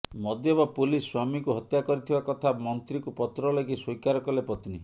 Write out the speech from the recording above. ମଦ୍ୟପ ପୁଲିସ ସ୍ୱାମୀକୁ ହତ୍ୟା କରିଥିବା କଥା ମନ୍ତ୍ରୀଙ୍କୁ ପତ୍ର ଲେଖି ସ୍ୱୀକାର କଲେ ପତ୍ନୀ